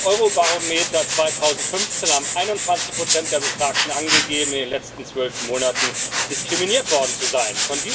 Laut Eurobarometer 2015 haben 21 der Befragten angegeben, in den letzten zwölf Monaten diskriminiert worden zu sein.